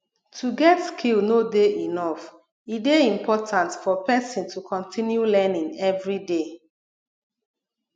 to get skill no de enough e de important for persin to continue learning everyday